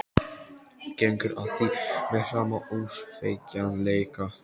Gengur að því með sama ósveigjanleika.